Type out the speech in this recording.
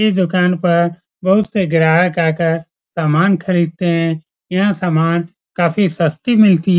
इस दुकान पर बहुत से ग्राहक आकर सामान खरीदते है यहाँ समान काफी सस्ती मिलती --